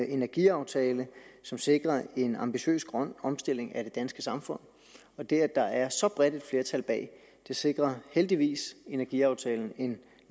energiaftale som sikrer en ambitiøs grøn omstilling af det danske samfund og det at der er så bredt et flertal bag sikrer heldigvis energiaftalen en